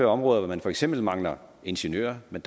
områder hvor man for eksempel mangler ingeniører men